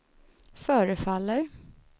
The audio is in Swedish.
förefaller